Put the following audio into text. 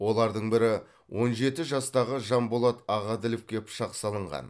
олардың бірі он жеті жастағы жанболат ағаділовке пышақ салынған